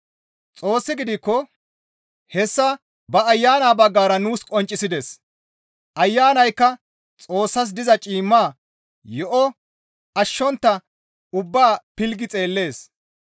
Xoossi gidikko hessa ba Ayana baggara nuus qonccisides; Ayanaykka Xoossas diza ciimma yo7o ashshontta ubbaa pilggi xeellees.